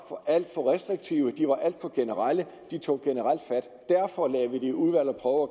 alt for restriktive de var alt for generelle og de tog generelt fat derfor lagde vi dem i udvalg og